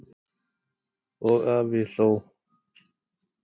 Og afi hló.